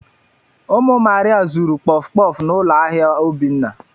Ụmụ Maria zuru kpọf kpọf n'ụlọ ahịa Obinna.